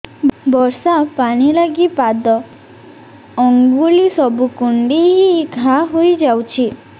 ବର୍ଷା ପାଣି ଲାଗି ପାଦ ଅଙ୍ଗୁଳି ସବୁ କୁଣ୍ଡେଇ ହେଇ ଘା ହୋଇଯାଉଛି